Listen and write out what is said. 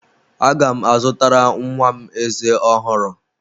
Aga m azụtara nwa m ezé ọhụrụ.